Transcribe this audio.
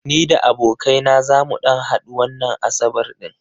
Ni da abokai na zamu ɗan hadu wannan asabar ɗin.